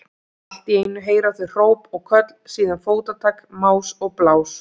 Allt í einu heyra þau hróp og köll, síðan fótatak, más og blás.